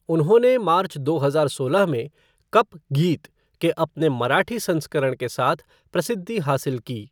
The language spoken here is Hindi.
उन्होंने मार्च दो हजार सोलह में "कप गीत" के अपने मराठी संस्करण के साथ प्रसिद्धि हासिल की।